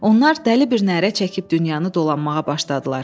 Onlar dəli bir nərə çəkib dünyanı dolanmağa başladılar.